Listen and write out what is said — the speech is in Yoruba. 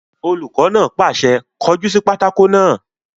Olùkọ́ náà pàṣẹ, "kọ jú sí pátákó náà!"